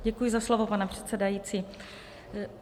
Děkuji za slovo, pane předsedající.